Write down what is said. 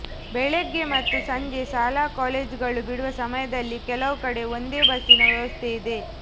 ಬೆಳಗ್ಗೆ ಮತ್ತು ಸಂಜೆ ಶಾಲಾ ಕಾಲೇಜುಗಳು ಬಿಡುವ ಸಮಯದಲ್ಲಿ ಕೆಲವು ಕಡೆ ಒಂದೇ ಬಸ್ಸಿನ ವ್ಯವಸ್ಥೆ ಇದೆ